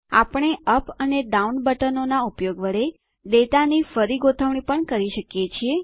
આપણે યુપી અને ડાઉન બટનોનાં ઉપયોગ વડે ડેટાની ફરી ગોઠવણી પણ કરી શકીએ છીએ